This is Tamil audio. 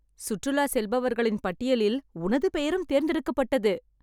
சுற்றுலா செல்பவர்களின் பட்டியலில் உனது பெயரும் தேர்ந்தெடுக்கப்பட்டது